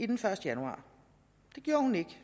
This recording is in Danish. den første januar det gjorde hun ikke